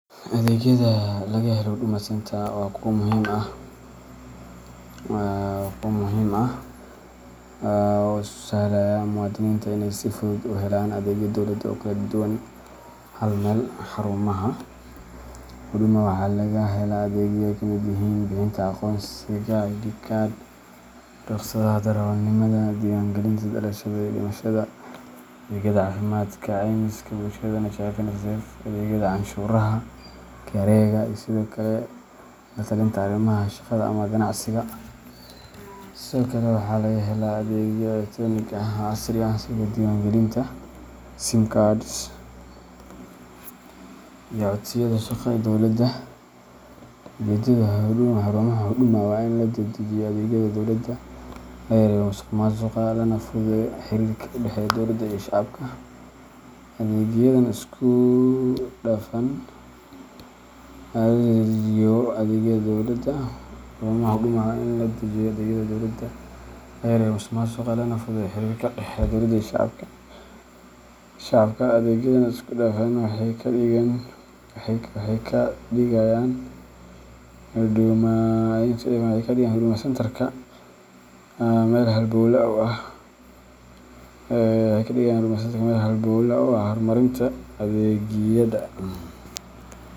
Adeegyada laga helo Huduma Centre-ka waa kuwo muhiim ah oo u sahlaya muwaadiniinta inay si fudud u helaan adeegyo dowladeed oo kala duwan hal meel. Xarumaha Huduma waxaa laga helaa adeegyo ay ka mid yihiin: bixinta aqoonsiga ID card, rukhsadaha darawalnimada, diiwaangelinta dhalashada iyo dhimashada, adeegyada caafimaadka, caymiska bulshada NHIF mise NSSF, adeegyada canshuuraha KRAga, iyo sidoo kale la-talinta arrimaha shaqada ama ganacsiga. Sidoo kale, waxaa laga helaa adeegyo elektaroonig ah oo casri ah sida diiwaangelinta sim cards iyo codsiyada shaqo ee dowladda. Ujeedada xarumaha Huduma waa in la dedejiyo adeegyada dowladda, la yareeyo musuqmaasuqa, lana fududeeyo xiriirka u dhexeeya dowlada iyo shacabka. Adeegyadan isku-dhafan waxay ka dhigayaan Huduma Centrka meel halbowle u ah horumarinta adeegyada.